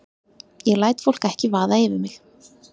Ég læt fólk ekki vaða yfir mig.